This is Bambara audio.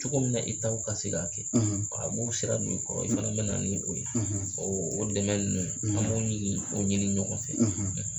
Cogo min na i ta bɛ ka se k'a kɛ a b'u sera do i kɔrɔ i fana bɛ na ni o ye o o dɛmɛ ninnu an b'o ɲini o ɲini ɲɔgɔn fɛ.